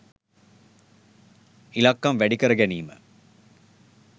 ඉලක්කම් වැඩි කර ගැනීම